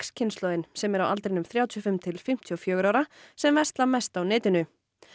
kynslóðin sem er á aldrinum þrjátíu og fimm til fimmtíu og fjögurra ára sem versla mest á netinu